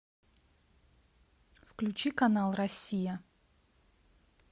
включи канал россия